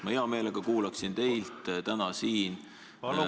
Ma hea meelega kuulaksin täna siin Riigikogu ...